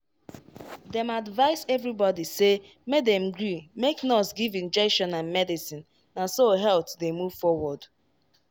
dem advice everybody say make dem gree make nurse give injection and medicine na so health dey move forward.